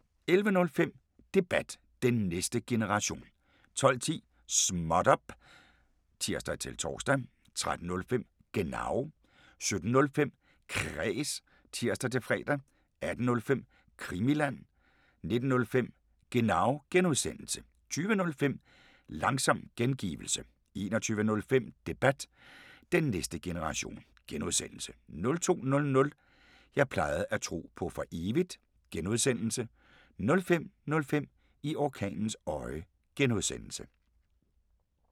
11:05: Debat: Den næste generation 12:10: Småt op! (tir-tor) 13:05: Genau 17:05: Kræs (tir-fre) 18:05: Krimiland 19:05: Genau (G) 20:05: Langsom gengivelse 21:05: Debat: Den næste generation (G) 02:00: Jeg plejede at tro på for evigt (G) 05:05: I orkanens øje (G)